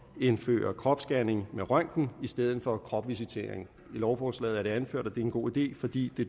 indføre kropsscanning med røntgen i stedet for kropsvisitering i lovforslaget er det anført at det er en god idé fordi det